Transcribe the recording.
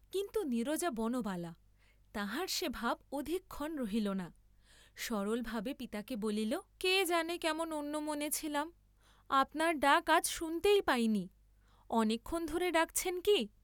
কিন্তু নীরজা বনবালা, তাহার সে ভাব অধিকক্ষণ রহিল না, সরল ভাবে পিতাকে বলিল কে জানে কেমন অন্যমনে ছিলাম, আপনার ডাক আজ শুনতেই পাইনি, অনেকক্ষণ ধরে ডাকছেন কি?